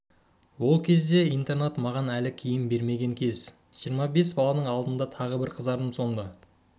ол кезде интернат маған әлі киім бермеген кез жиырма бес баланың алдында тағы бір қызардым сонда